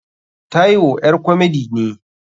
Taiwo ƴar komedi ne.